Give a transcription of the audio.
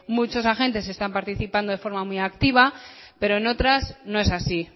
muchos agentes están participando de forma muy activa pero en otras no es así